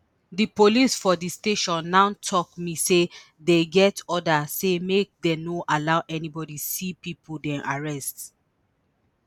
di police for di station now tok me say dem get order say make dem no allow anybody see pipo dem arrest